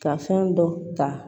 Ka fɛn dɔ ta